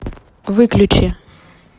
выключи